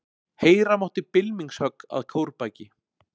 Heyra mátti bylmingshögg að kórbaki.